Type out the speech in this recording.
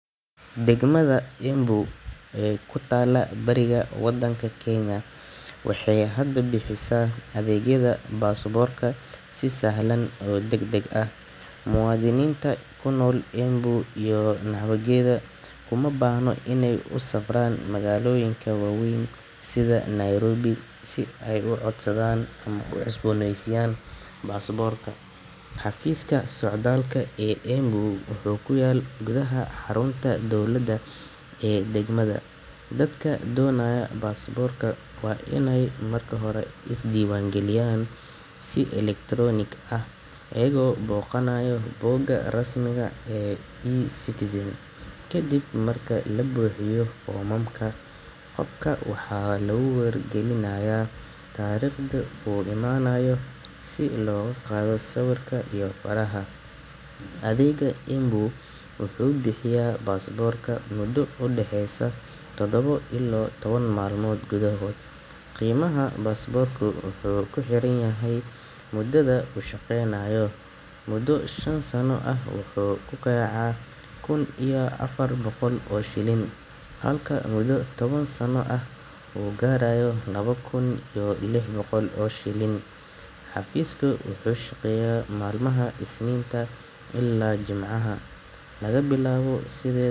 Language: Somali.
Degmada Embu ee ku taalla bariga waddanka Kenya waxay hadda bixisaa adeegyada baasaboorka si sahlan oo degdeg ah. Muwaadiniinta ku nool Embu iyo nawaaxigeeda kama baahna inay u safraan magaalooyinka waaweyn sida Nairobi si ay u codsadaan ama u cusboonaysiiyaan baasaboorkooda. Xafiiska socdaalka ee Embu wuxuu ku yaal gudaha xarunta dowladda ee degmada. Dadka doonaya baasaboorka waa inay marka hore iska diiwaangeliyaan si elektaroonig ah iyaga oo booqanaya bogga rasmiga ah ee eCitizen. Kadib marka la buuxiyo foomamka, qofka waxaa lagu wargelinayaa taariikhda uu imaanayo si loogu qaado sawirka iyo faraha. Adeegga Embu wuxuu bixiyaa baasaboorka muddo u dhexeysa todoba ilaa toban maalmood gudahood. Qiimaha baasaboorka wuxuu ku xiran yahay muddada uu shaqeynayo: muddo shan sano ah wuxuu ku kacayaa kun iyo afar boqol oo shilin, halka muddo toban sano ah uu gaarayo laba kun iyo lix boqol oo shilin. Xafiiska wuxuu shaqeeyaa maalmaha Isniinta ilaa Jimcaha, laga bilaabo side.